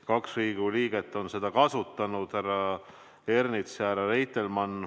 Kaks Riigikogu liiget on seda kasutanud, härra Ernits ja härra Reitelmann.